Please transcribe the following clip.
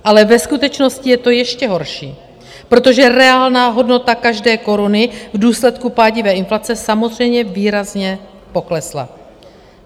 Ale ve skutečnosti je to ještě horší, protože reálná hodnota každé koruny v důsledku pádivé inflace samozřejmě výrazně poklesla.